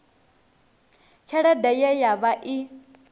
tshelede ye ya vha i